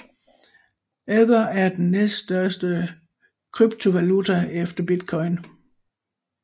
Ether er den næststørste kryptovaluta efter bitcoin